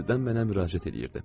Qəfildən mənə müraciət eləyirdi.